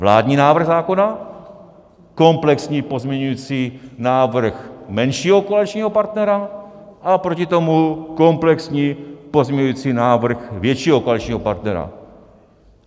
Vládní návrh zákona, komplexní pozměňovací návrh menšího koaličního partnera a proti tomu komplexní pozměňovací návrh většího koaličního partnera.